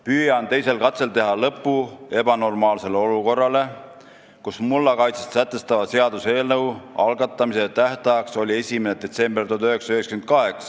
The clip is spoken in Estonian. püüan teisel katsel teha lõpu ebanormaalsele olukorrale, kus mullakaitset sätestava seaduse eelnõu algatamise tähtajaks oli 1. detsember 1998.